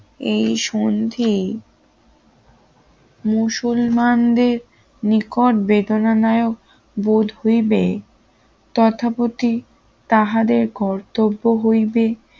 এই সন্ধি মুসলমানদের নিকট বেদনাদায়ক বোধ হইবে তথাপতি তাহাদের কর্তব্য হইবে